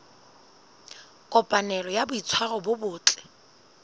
kopanelo ya boitshwaro bo botle